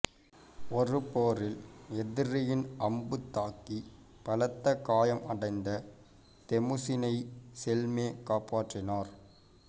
ஒரு போரில் எதிரியின் அம்பு தாக்கி பலத்த காயம் அடைந்த தெமுசினை செல்மே காப்பாற்றினார்